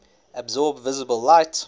absorb visible light